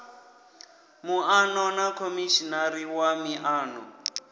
muano na khomishinari wa miano